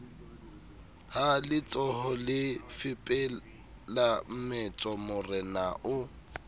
ha letsohole fepela mmetso morenao